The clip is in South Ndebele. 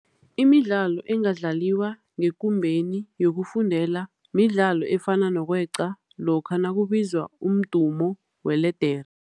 Imidlalo engadlaliwa ngekumbeni yokufundela midlalo efana nokweqa lokha nakubizwa umdumo weledere.